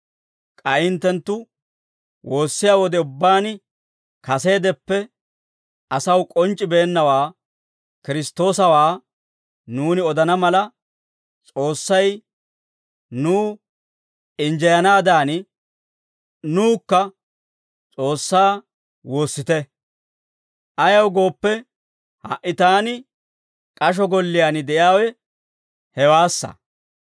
K'ay hinttenttu woossiyaa wode ubbaan, kaseedeppe asaw k'onc'c'ibeennawaa, Kiristtoosawaa nuuni odana mala, S'oossay nuw injjeyanaadan, nuwukka S'oossaa woossite; ayaw gooppe, ha"i taani k'asho golliyaan de'iyaawe hewaassa.